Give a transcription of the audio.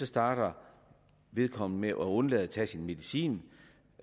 starter vedkommende med at undlade at tage sin medicin